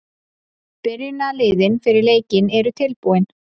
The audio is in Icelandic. Byrjunarliðin fyrir leikinn eru tilbúin.